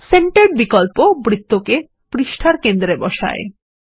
centred বিকল্প বৃত্ত কে পৃষ্ঠার কেন্দ্রে বসায়